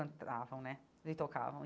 cantavam, né, e tocavam.